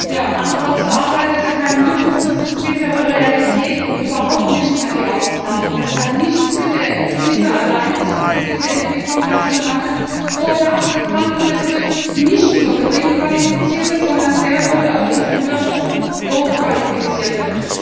Herr Präsident! Arm trotz Arbeit ist kein Mythos, das ist bittere Realität und überhaupt nicht mehr die Ausnahme. Das hat nichts mit der Krise alleine zu tun, diese Entwicklung hat schon lange vorher angefangen. Das trifft nicht nur Geringqualifizierte, sondern sehr wohl auch Ingenieure und Hochqualifizierte.